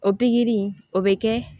O pikiri in o bɛ kɛ